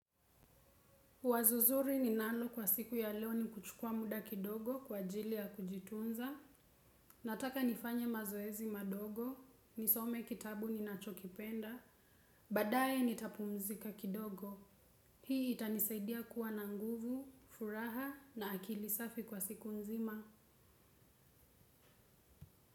Wazo zuri ni nalo kwa siku ya leo ni kuchukua muda kidogo kwa ajili ya kujitunza, nataka nifanya mazoezi madogo, nisome kitabu ninachokipenda, baadaye nitapumzika kidogo. Hii itanisaidia kuwa na nguvu, furaha na akili safi kwa siku nzima.